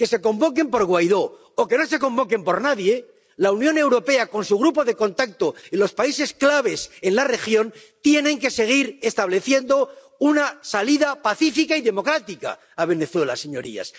que se convoquen por Guaidó, o que no se convoquen por nadie—, la Unión Europea, con su grupo de contacto en los países clave en la región, tiene que seguir estableciendo una salida pacífica y democrática a Venezuela, señorías.